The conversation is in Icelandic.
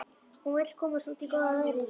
Hún vill komast út í góða veðrið.